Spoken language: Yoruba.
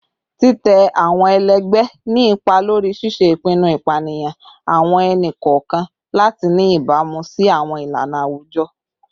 Titẹ awọn ẹlẹgbẹ ni ipa lori ṣiṣe ipinnu, ipaniyan awọn ẹni-kọọkan lati ni ibamu si awọn ilana awujọ